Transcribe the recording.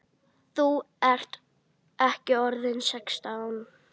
Þú ert ekki orðinn sextán!